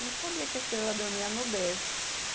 Não sabia que a estrela dormia no berço.